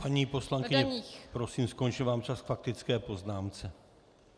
Paní poslankyně, prosím, skončil vám čas k faktické poznámce.